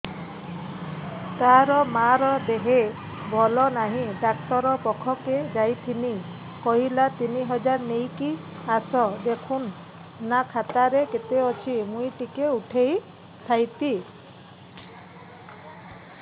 ତାର ମାର ଦେହେ ଭଲ ନାଇଁ ଡାକ୍ତର ପଖକେ ଯାଈଥିନି କହିଲା ତିନ ହଜାର ନେଇକି ଆସ ଦେଖୁନ ନା ଖାତାରେ କେତେ ଅଛି ମୁଇଁ ଟିକେ ଉଠେଇ ଥାଇତି